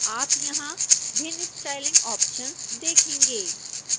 आप यहां भिन्न स्टाइलिंग ऑप्शन्स देखेंगे